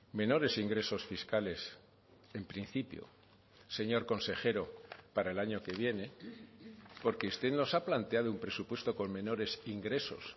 menores ingresos fiscales en principio señor consejero para el año que viene porque usted nos ha planteado un presupuesto con menores ingresos